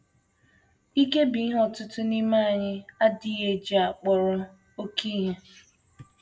IKE bụ ihe ọtụtụ n’ime anyị na - adịghị eji akpọrọ oké ihe.